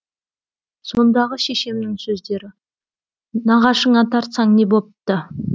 сондағы шешемнің сөздері нағашыңа тартсаң не бопты